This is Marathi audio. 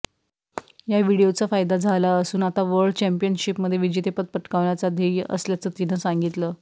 या व्हिडिओचा फायदा झाला असून आता वर्ल्ड चॅम्पियनशिपमध्ये विजेतेपद पटकावण्याचं ध्येय असल्याचं तिनं सांगितलं